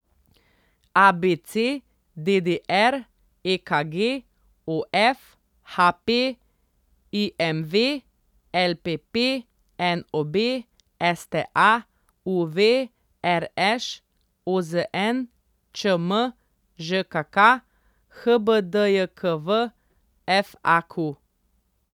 ABC, DDR, EKG, OF, HP, IMV, LPP, NOB, STA, UV, RŠ, OZN, ČM, ŽKK, HBDJKV, FAQ.